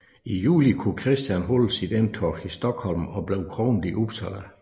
I juli kunne Christian holde sit indtog i Stockholm og blev kronet i Uppsala